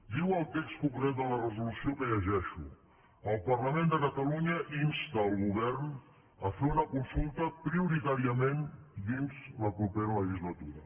diu el text concret de la resolució que llegeixo el parlament de catalunya insta el govern a fer una consulta prioritàriament dins la propera legislatura